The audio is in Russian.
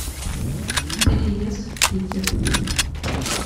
переезд в питер